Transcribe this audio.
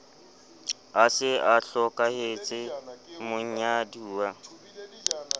a se a hlokahetse monyaduwa